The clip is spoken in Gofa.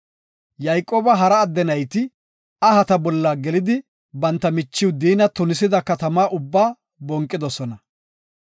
Yayqooba hara adde nayti ahata bolla gelidi banta michiw Diina tunisida katama ubbaa bonqidosona.